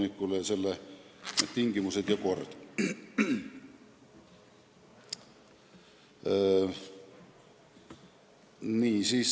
Asjaomased tingimused ja kord on selles paragrahvis kirjas.